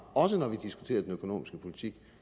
også når vi diskuterer den økonomiske politik